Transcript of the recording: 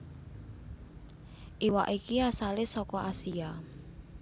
Iwak iki asale saka Asia